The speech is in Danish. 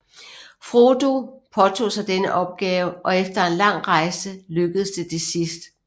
Frodo påtog sig denne opgave og efter en lang rejse lykkedes det til sidst